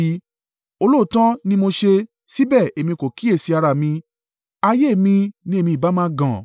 “Olóòótọ́ ni mo ṣe, síbẹ̀ èmi kò kíyèsi ara mi, ayé mi ní èmi ìbá máa gàn.